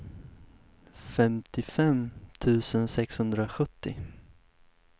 femtiofem tusen sexhundrasjuttio